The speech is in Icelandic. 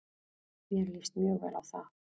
Mér líst mjög vel á það.